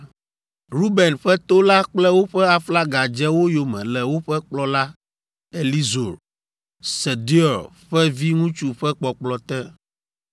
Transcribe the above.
Ruben ƒe to la kple woƒe aflaga dze wo yome le woƒe kplɔla Elizur, Sedeur ƒe viŋutsu ƒe kpɔkplɔ te.